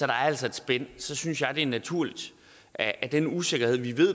er altså et spænd synes jeg det er naturligt at at den usikkerhed vi ved